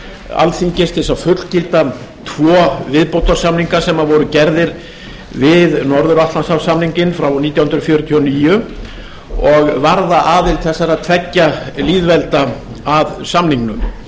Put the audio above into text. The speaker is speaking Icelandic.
alþingis til að fullgilda tvo viðbótarsamninga sem voru gerðir við norður atlantshafssamninginn frá nítján hundruð fjörutíu og níu og varða aðild þessara tveggja lýðvelda að samningum